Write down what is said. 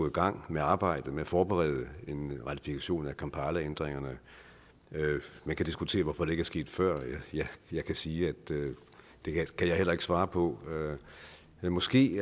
i gang med arbejdet med at forberede en ratifikation af kampalaændringerne man kan diskutere hvorfor det ikke er sket før jeg kan sige at det kan jeg heller ikke svare på men måske